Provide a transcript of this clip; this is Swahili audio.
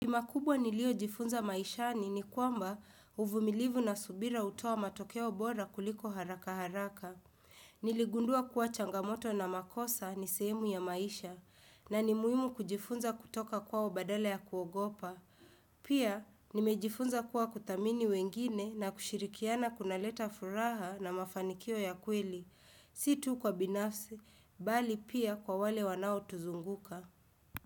Kima kubwa nilio jifunza maishani ni kwamba uvumilivu na subira hutuoa matokeo bora kuliko haraka haraka. Niligundua kuwa changamoto na makosa ni sehemu ya maisha na ni muhimu kujifunza kutoka kwao badala ya kuogopa. Pia nimejifunza kuwa kudhamini wengine na kushirikiana kunaleta furaha na mafanikio ya kweli. Situ kwa binafsi, bali pia kwa wale wanaotuzunguka.